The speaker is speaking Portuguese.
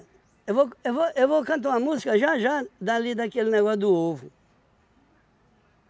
Eu vou eu vou eu vou cantar uma música já já dali daquele negócio do ovo.